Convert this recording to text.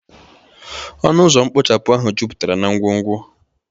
ọnụ ụzọ mkpochapụ ahụ juputara na ngwongwo